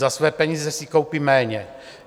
Za své peníze si koupí méně.